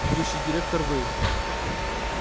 будущий директор вы